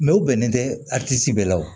Mɛ u bɛnnen tɛ bɛɛ la o